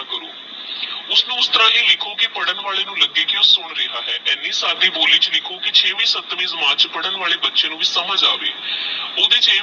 ਓਸਨੂ ਉਸ ਤਰਹ ਹੀ ਲਿਖੋ ਕੀ ਪਦਾਂ ਵਾਲੇ ਨੂ ਲੱਗੇ ਕੀ ਓਹ ਸੁਨ ਰਿਹਾ ਆਹ ਐਨੀ ਸਾਦਗੀ ਬੋਲੀ ਚ ਲਿਖੋ ਕੀ ਛੇਵੀ ਸਤਵੀ ਕਲਾਸ ਚ ਵੀ ਪਦਾਂ ਵਾਲੇ ਬਚੇ ਨੂ ਵੀ ਸਮਝ ਆਵੇ ਓਹਦੇ ਚ